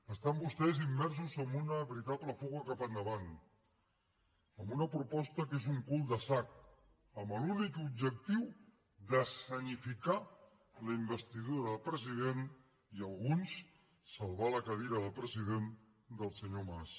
estan vostès immersos en una veritable fuga cap endavant amb una proposta que és un cul de sac amb l’únic objectiu d’escenificar la investidura del president i alguns salvar la cadira de president del senyor mas